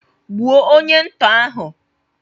Gbuo onye ntọ ahụ!